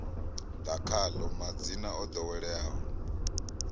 ḓa khaḽo madzina o ḓoweleaho